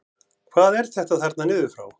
Hvað er þetta þarna niður frá?